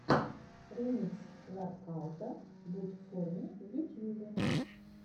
ремикс воркаута будь в форме в ютьюбе